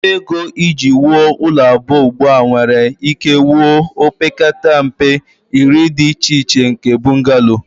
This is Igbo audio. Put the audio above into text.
Ọnụ ego iji wuo ụlọ abụọ ugbu a nwere ike wuo opekata mpe iri dị iche iche nke bungalow